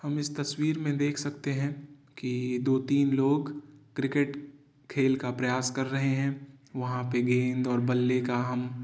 हम इस तस्वीर में देख सकते हैं कि दो तीन लोग क्रिकेट खेल का प्रयास कर रहे हैं। वहाँ पे गेंद और बल्ले का हम --